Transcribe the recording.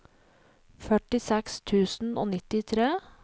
førtiseks tusen og nittitre